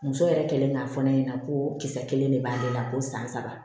Muso yɛrɛ kɛlen k'a fɔ ne ɲɛna ko kisɛ kelen de b'ale la ko san saba